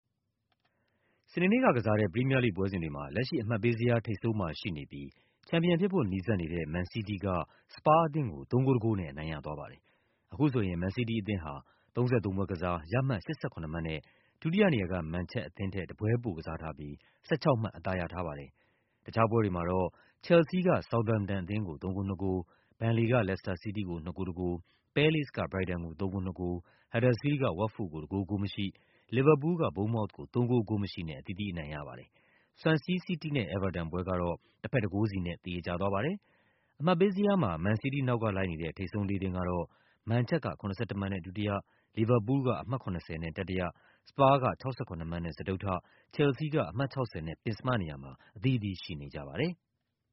စနေနေ့ကကစားတဲ့ ပရီးမီးယားလိဂ်ပွဲစဉ်တွေမှာ လက်ရှိ အမှတ်ပေးဇယား ထိပ်ဆုံးမှာရှိနေပြီး ချန်ပီယံဖြစ်ဖို့ နီးစပ်နေတဲ့ မန်စီးတီးက စပါးအသင်းကို ၃ ဂိုး ၁ ဂိုးနဲ့ အနိုင်ရသွားပါတယ်။ အခုဆိုရင် မန်စီးတီးအသင်းဟာ ၃၃ ပွဲကစား၊ ရမှတ် ၈၇ မှတ်နဲ့ ဒုတိယနေရာက မန်ချက်အသင်းထက် တပွဲပိုကစား၊ ၁၆ မှတ် အသာရထားပါတယ်။ တခြားပွဲတွေမှာ ဆောက်သမ်ပ်တန်အသင်းက ချယ်လ်ဆီးအသင်းကို ၃ ဂိုး ၂ ဂိုး၊ ဘန်လေက လက်စတာစီးတီးကို ၂ ဂိုး ၁ ဂိုး၊ ပဲလေ့စ်က ဘရိုက်တန်ကို ၃ ဂိုး ၂ ဂိုး၊ ဟတ်ဒါစ်ဖီးလ်ဒ်က ဝတ်ဖို့ကို ၁ ဂိုး ဂိုးမရှိ၊ လီဗာပူးလ်က ဘုန်းမောက်သ်ကို ၃ ဂိုး ဂိုးမရှိနဲ့ အသီးသီးအနိုင်ရပါတယ်။ ဆွမ်ဆီးစီးတီးနဲ့ အဲဗာတန်ပွဲကတော့ တဘက် ၁ ဂိုးစီနဲ့ သရေကျသွားပါတယ်။ အမှတ်ပေးဇယားမှာ မန်စီးတီးနောက်ကလိုက်နေတဲ့ ထိပ်ဆုံး လေးသင်းကတော့ မန်ချက်က ၇၁ မှတ်နဲ့ ဒုတိယ၊ လီဗာပူးလ်က အမှတ် ၇၀ နဲ့ တတိယ၊ စပါးက ၆၇ မှတ်နဲ့ စတုတ္ထ၊ ချယ်လ်ဆီးက အမှတ် ၆၀ နဲ့ ပဉ္စမနေရာမှာ အသီးသီးရှိနေကြပါတယ်။